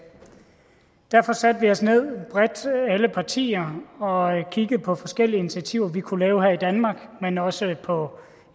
derfor satte vi os ned alle partier og kiggede på forskellige initiativer vi kunne tage her i danmark men også på